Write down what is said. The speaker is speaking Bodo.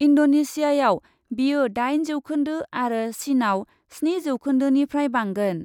इन्डनेसियाआव बेयो दाइन जौखोन्दो आरो चिनआव स्नि जौखोन्दोनिफ्राय बांगोन।